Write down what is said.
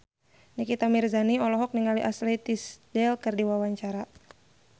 Nikita Mirzani olohok ningali Ashley Tisdale keur diwawancara